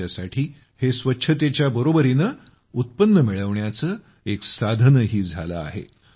त्यांच्यासाठी हे स्वच्छतेच्या बरोबरीने उत्पन्न मिळवण्याचं एक साधनही झालं आहे